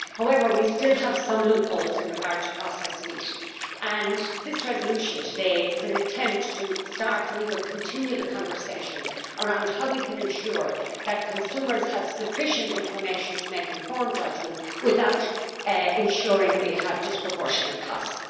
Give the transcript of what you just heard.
However, we still have some loopholes in relation to processed meat, and this resolution today is an attempt to start, or continue, the conversation around how to ensure that consumers have sufficient information to make informed judgments, without ensuring we have disproportionate costs.